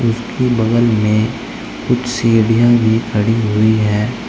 इसके बगल में कुछ सीढ़ियां भी खड़ी हुई है।